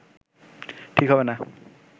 ঠিক হবে না